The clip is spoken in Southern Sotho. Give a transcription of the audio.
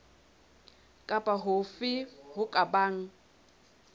kapa hofe ho ka bang